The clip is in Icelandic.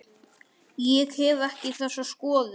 Ég hef ekki þessa skoðun.